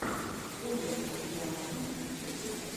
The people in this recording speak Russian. оля андрианова в ютубе